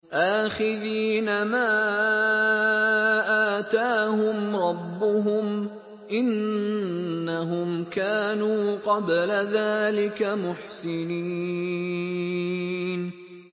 آخِذِينَ مَا آتَاهُمْ رَبُّهُمْ ۚ إِنَّهُمْ كَانُوا قَبْلَ ذَٰلِكَ مُحْسِنِينَ